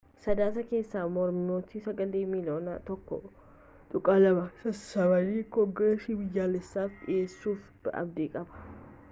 sadaasa keessa mormitoonni sagalee miiliyoona 1.2 sassaabanii koongeresii biyyaalessaf dhiheessuuf abdii qabu